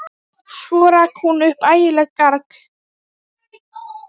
Svo rak hún upp ægilegt garg.